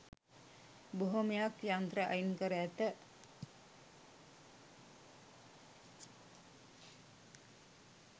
බොහොමයක් යන්ත්‍ර අයින්කර ඇත